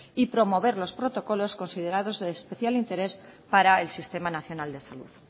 y promover los protocolos considerados de especial interés para el sistema nacional de salud